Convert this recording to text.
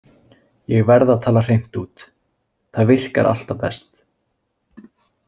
Ég verð að tala hreint út, það virkar alltaf best.